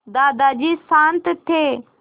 दादाजी शान्त थे